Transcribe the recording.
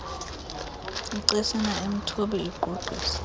icesina emthubi igqugqisa